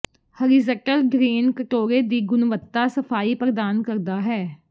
horizontal drain ਕਟੋਰੇ ਦੀ ਗੁਣਵੱਤਾ ਸਫਾਈ ਪ੍ਰਦਾਨ ਕਰਦਾ ਹੈ